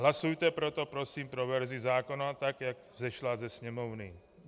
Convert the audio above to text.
Hlasujte proto prosím pro verzi zákona tak, jak vzešla ze Sněmovny.